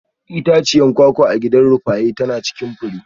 Itaciyar kwakwa a gidan Rufaye tana cikin fure.